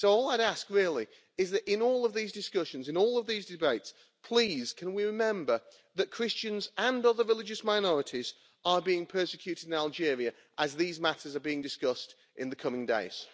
All I'd ask is that in all of these discussions, in all of these debates, please can we remember that Christians and other religious minorities are being persecuted in Algeria, as these matters are being discussed in the coming days.